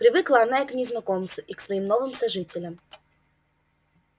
привыкла она и к незнакомцу и к своим новым сожителям